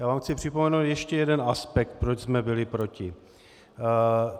Já vám chci připomenout ještě jeden aspekt, proč jsme byli proti.